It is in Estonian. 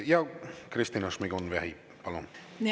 Kristina Šmigun-Vähi, palun!